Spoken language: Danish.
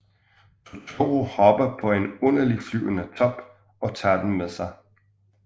Totoro hopper op på en underlig flyvende top og tager dem med sig